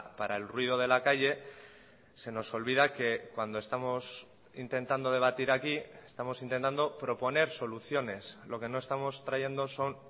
para el ruido de la calle se nos olvida que cuando estamos intentando debatir aquí estamos intentando proponer soluciones lo que no estamos trayendo son